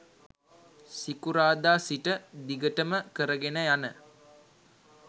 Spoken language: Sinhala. සිකුරාදා සිට දිගටම කර ගෙන යන